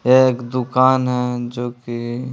एक दुकान हैं जो कि--